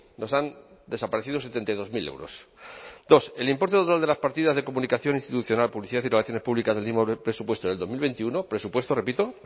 nos han desaparecido setenta y dos mil euros dos el importe total de las partidas de comunicación institucional publicidad y relaciones públicas presupuesto del dos mil veintiuno presupuesto repito